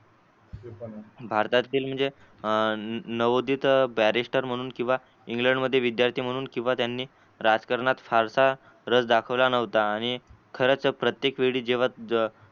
भारतातील म्हणजे नवोदित barrister म्हणून कीवा इंग्लंडमध्ये विद्यार्थी म्हणून कीवा त्यांनी राजकारणात फारसा रस दाखवला नवत आणि खर्च प्रत्येक वेळी जेव्हा ज